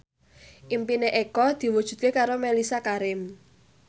impine Eko diwujudke karo Mellisa Karim